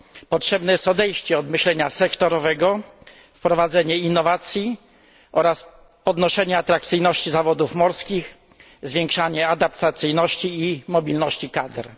potrzebne jest odejście od myślenia sektorowego, wprowadzenie innowacji oraz podnoszenie atrakcyjności zawodów morskich, zwiększanie adaptacyjności i mobilności kadr.